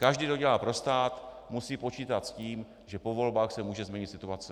Každý, kdo dělá pro stát, musí počítat s tím, že po volbách se může změnit situace.